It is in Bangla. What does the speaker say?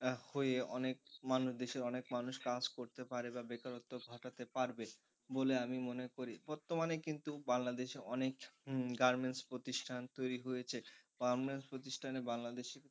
হয়ে অনেক মানুষ দেশে অনেক মানুষ কাজ করতে পারে বা বেকারত্ব ঘটাতে পারবে বলে আমি মনে করি বর্তমানে কিন্তু বাংলাদেশে অনেক গার্মেন্টস প্রতিষ্ঠান তৈরি হয়েছে। গার্মেন্টস প্রতিষ্ঠানে বাংলাদেশের,